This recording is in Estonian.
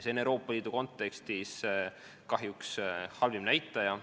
See on Euroopa Liidu kontekstis kahjuks halvim näitaja.